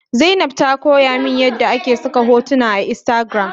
Zainab ta koyamin yadda ake saka hotuna a instagram